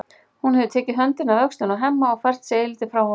Hún hefur tekið höndina af öxlinni á Hemma og fært sig eilítið frá honum.